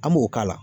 An b'o k'a la